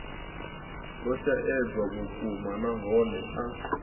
lwo shaedza vhukuma nahone a